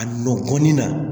A nɔ kɔnɔni na